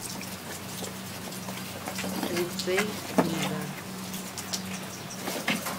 лицей книга